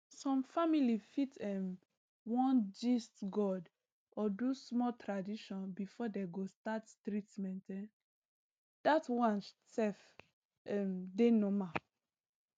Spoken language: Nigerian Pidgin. some family fit um wan gist god or do small tradition before dey go start treatment um that one self um dey normal